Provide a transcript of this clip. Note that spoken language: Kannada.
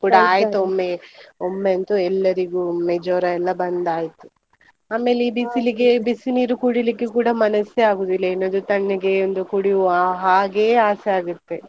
ಆಯ್ತು ಒಮ್ಮೆ, ಒಮ್ಮೆ ಅಂತೂ ಎಲ್ಲರಿಗೂ ಒಮ್ಮೆ ಜ್ವರ ಎಲ್ಲ ಬಂದಾಯ್ತು, ಆಮೇಲೆ ಈ ಬಿಸಿನೀರು ಕುಡಿಲಿಕ್ಕೆ ಕೂಡ ಮನಸ್ಸೇ ಆಗೋದಿಲ್ಲ ಏನಾದ್ರೂ ತಣ್ಣಗೆ ಒಂದು ಕುಡಿಯುವ ಹಾಗೇ ಆಸೆ ಆಗತ್ತೆ.